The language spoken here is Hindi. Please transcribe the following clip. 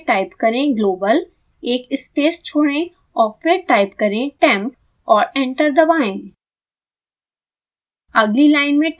अगली लाइन में टाइप करें global एक स्पेस छोड़ें और फिर टाइप करें temp और एंटर दबाएँ